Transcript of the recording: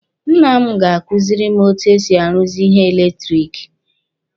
Nna m ga-kuziri m etu e si aruzi ihe eletiriki.